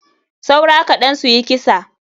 Saura kaɗan suyi kisa.